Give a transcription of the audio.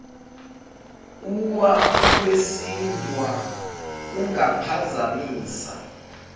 uwa ukwesindwa kungaphazamisa